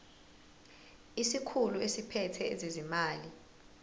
isikhulu esiphethe ezezimali